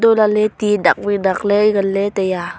untoh lahley ti dak wai dakley nganley taiya.